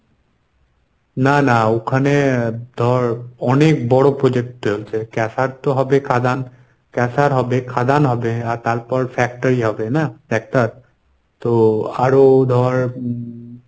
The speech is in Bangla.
না না ওখানে ধর অনেক বড় project চলছে caser তো হবে কাদান caser হবে খাদান হবে আর তারপর factory হবে। না? একটা তো আরো ধর